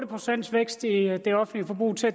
procent vækst i det offentlige forbrug til